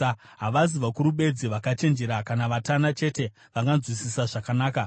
Havazi vakuru bedzi vakachenjera, kana vatana chete vanganzwisisa zvakanaka.